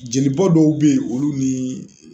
Jelibɔ dɔw be ye olu nii